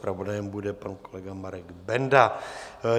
Zpravodajem bude pan kolega Marek Benda.